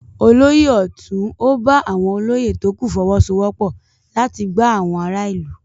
Olóyè ọ̀tún ò bá àwọn olóyè tókù fọwọ́sowọ́pọ̀ láti gbá àwon ará ìlú.